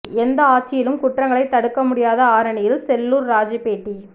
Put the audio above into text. எந்த ஆட்சியிலும் குற்றங்களை தடுக்க முடியாது ஆரணியில் செல்லூர் ராஜூ பேட்டி